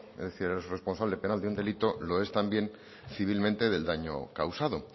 es el responsable penal de un delito lo es también civilmente del daño causado